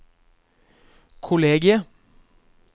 kollegiet